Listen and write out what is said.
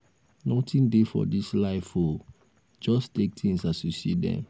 nothing dey for dis life oo just take things as you see dem.